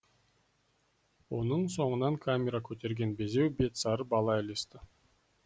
оның соңынан камера көтерген безеу бет сары бала ілесті